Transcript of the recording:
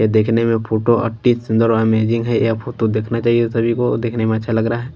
ये देखने में फोटो अतिसुंदर और इमेजिंग है ये फोटो देखना चाहिए सभी को देखने में अच्छा लग रहा है।